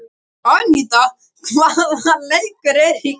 Aníta, hvaða leikir eru í kvöld?